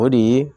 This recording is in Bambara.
O de ye